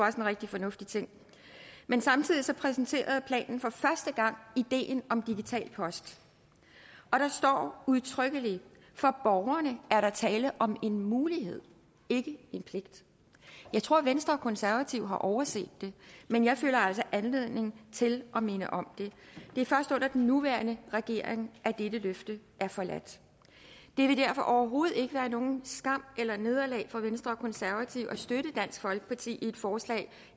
en rigtig fornuftig ting men samtidig præsenterede planen for første gang ideen om digital post og der står udtrykkelig for borgerne er der tale om en mulighed ikke en pligt jeg tror at venstre og konservative har overset det men jeg føler altså anledning til at minde om det det er først under den nuværende regering at dette løfte er forladt det vil derfor overhovedet ikke være nogen skam eller noget nederlag for venstre og konservative at støtte dansk folkeparti i et forslag